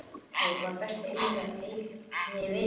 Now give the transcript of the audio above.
Jói var besti og eiginlega eini vinur hans.